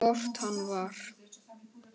Og hvort hann var.